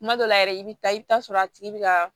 Kuma dɔw la yɛrɛ i bɛ taa i bɛ taa sɔrɔ a tigi bɛ ka